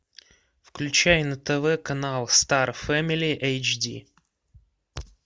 включай на тв канал стар фэмили эйч ди